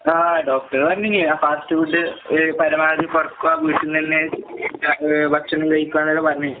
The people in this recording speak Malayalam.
ആഹ് ഡോക്ടർ പറഞ്ഞീന് ആ ഫാസ്റ്റ് ഫുഡ് ഏഹ് പരമാവധി കൊറക്കുക, വീട്ട്ന്നന്നെ ഏഹ് ഭക്ഷണം കഴിക്കാന്നൊക്കെ പറഞ്ഞീന്.